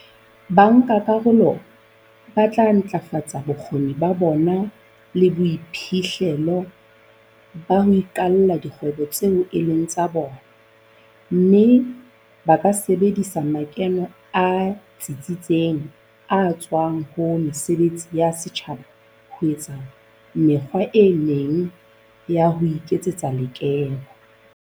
Bankakarolo ba tla ntlafatsa bokgoni ba bona le boiphihlelo ba ho iqalla dikgwebo tseo e leng tsa bona, mme ba ka sebedisa makeno a tsitseng a tswang ho mesebetsi ya setjhaba ho etsa mekgwa e meng ya ho iketsetsa lekeno.